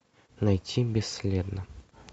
найти бесследно